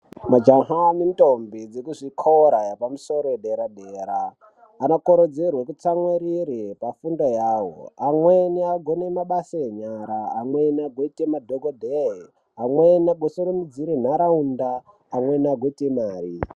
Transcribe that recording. Majaha nendombi dzekuzvikora zvepamusoro zvedera-dera anokurudzirwa atsamwirire pafundo yawo amweni agone mabasa enyara amweni agoite madhokodheya amweni agosumudzire nharaunda amweni agoite Mari.